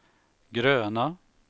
gröna